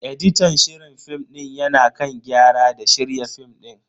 Editan shirin film din ya na kan gyara da shirya film din.